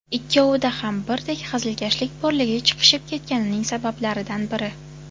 Ikkovida ham birdek hazilkashlik borligi chiqishib ketganining sabablaridan biri.